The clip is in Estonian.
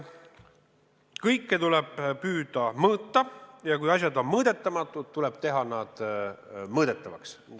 Kõike tuleb püüda mõõta ja kui asjad on mõõdetamatud, tuleb need teha mõõdetavaks.